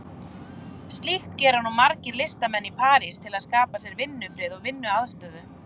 Slíkt gera nú margir listamenn í París til að skapa sér vinnufrið og vinnuaðstöðu.